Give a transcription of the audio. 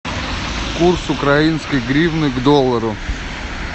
курс украинской гривны к доллару